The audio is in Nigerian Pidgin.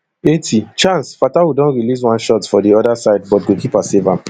eighty chance fatawu don release one shot for di oda side but goalkeeper save am